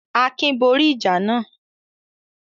Akin borí ìjà náà?